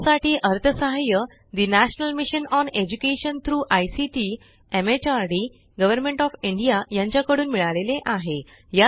यासाठी अर्थसहाय्य national mission on education through ICT MHRD government of India यांच्याकडून मिळालेले आहे